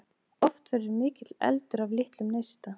Oft verður mikill eldur af litlum neista.